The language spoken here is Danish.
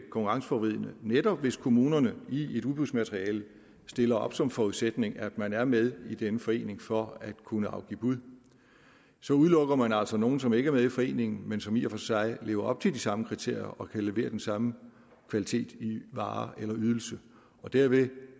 konkurrenceforvridende netop hvis kommunerne i et udbudsmateriale stiller op som forudsætning at man er med i denne forening for at kunne afgive bud så udelukker man altså nogle som ikke er med i foreningen men som i og for sig lever op til de samme kriterier og kan levere den samme kvalitet i varer eller ydelser og dermed